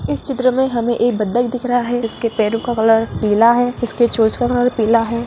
इस चित्र मे हमे एक बतख दिख रहा है जिसके पेरो का कलर पीला है इसके चोंच का कलर पीला है।